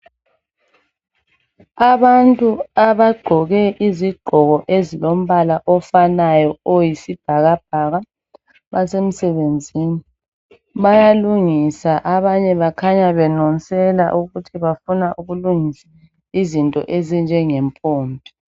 Abantu abagqoke izigqoko ezilombala ofanayo oyisibhakabhaka basemsebenzini bayalungisa abanye bakhanya belungiselela ukuthi bafuna ukulungisa izinto ezinjenge mpompi.